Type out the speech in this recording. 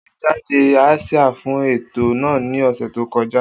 O tẹjáde asia fun eto naa ni ọsẹ to kọja.